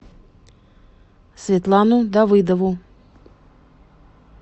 светлану давыдову